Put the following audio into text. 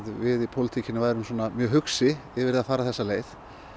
við í pólitíkinni værum mjög hugsi yfir því að fara þessa leið